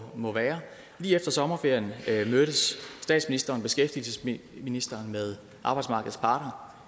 må være lige efter sommerferien mødtes statsministeren og beskæftigelsesministeren med arbejdsmarkedets parter